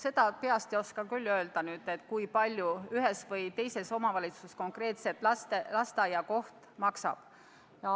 Ma peast ei oska küll öelda, kui palju ühes või teises omavalitsuses konkreetselt lasteaiakoht maksab.